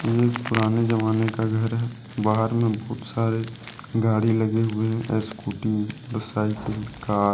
ये एक पुराने जमाने का घर है। बाहर मे बहुत सारे गाड़ी लगे हुए हैं स्कूटी साइकिल कार